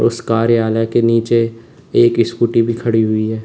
उस कार्यालय के नीचे एक स्कूटी भी खड़ी हुई है।